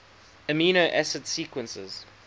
amino acid sequences